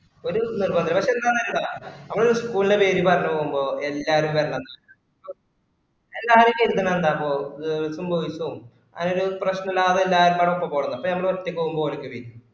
ഒരു നിര്ബധോം ഇല്ല പക്ഷെ ന്താന്ന് അറിയോ നമ്മള് ഒരു school ന്റ്റെ പേര് പറഞ്ഞുപോവുമ്പോ എല്ലാരും വരാണന്നുണ്ട് എല്ലാരും ഇങ്ങനെ ഇരികുന്നുകണ്ടപ്പൊ girls ഉം boys ഉം അതിനു ഒരു പ്രശനം ലാഭം എല്ലാർക്കും പാടേ പോവയ്ക്കാരം അപ്പൊ മ്മള് ഒറ്റക്കു പോവുമ്പൊ ഓർക്ക് തിരിയും